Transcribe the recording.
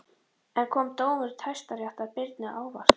En kom dómur Hæstaréttar Birni á óvart?